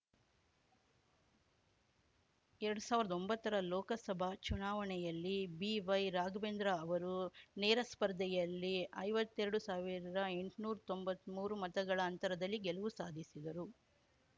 ಎರಡ್ ಸಾವ್ರ್ದ ಒಂಬತ್ತರ ಲೋಕಸಭಾ ಚುನಾವಣೆಯಲ್ಲಿ ಬಿವೈ ರಾಘವೇಂದ್ರ ಅವರು ನೇರ ಸ್ಪರ್ಧೆಯಲ್ಲಿ ಐವತ್ತೆರಡು ಸಾವಿರದಎಂಟ್ನೂರ್ ತೊಂಬತ್ಮೂರು ಮತಗಳ ಅಂತರದಲ್ಲಿ ಗೆಲುವು ಸಾಧಿಸಿದರು